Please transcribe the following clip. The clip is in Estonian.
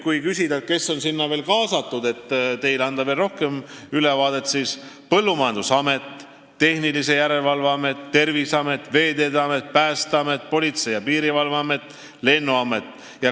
Kui küsida, kes on sinna veel kaasatud, et saaks anda teile veel parema ülevaate, siis need on Põllumajandusamet, Tehnilise Järelevalve Amet, Terviseamet, Veeteede Amet, Päästeamet, Politsei- ja Piirivalveamet ning Lennuamet.